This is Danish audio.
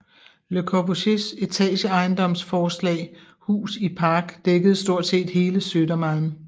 Le Corbusiers etageejendomsforslag Hus i Park dækkede stort set hele Södermalm